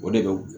O de bɛ